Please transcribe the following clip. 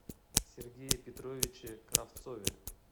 сергее петровиче кравцове